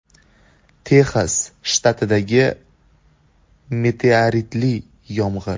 Texas shtatidagi meteoritli yomg‘ir.